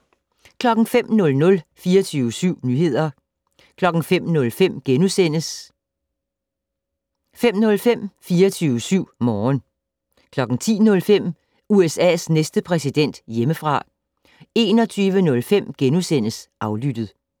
05:00: 24syv nyheder 05:05: 05:05 24syv Morgen * 10:05: USA's næste præsident - hjemmefra 21:05: Aflyttet *